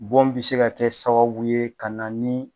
Bon bi se ka kɛ sababu ye ka na ni